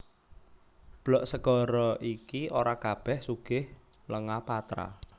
Blok segara iki ora kabèh sugih lenga patra